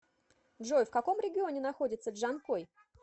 джой в каком регионе находится джанкой